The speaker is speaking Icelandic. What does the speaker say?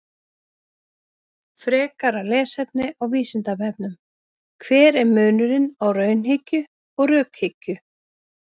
Frekara lesefni á Vísindavefnum: Hver er munurinn á raunhyggju og rökhyggju?